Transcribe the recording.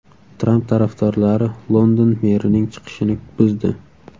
Tramp tarafdorlari London merining chiqishini buzdi.